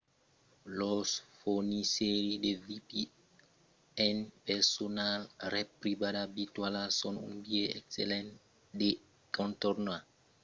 los fornisseires de vpn personals ret privada virtuala son un biais excellent de contornar a l'encòp la censura politica e lo geofiltratge ip comercial